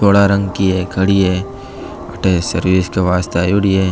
धोला रंग की है खड़ी है अठे सर्विस के वास्ते आयोडी है।